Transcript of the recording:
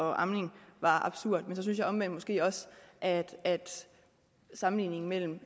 og amning var absurd men så synes jeg omvendt måske også at sammenligningen mellem